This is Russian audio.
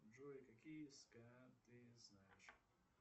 джой какие ска ты знаешь